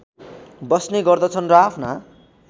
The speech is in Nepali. बस्ने गर्दछन् र आफ्ना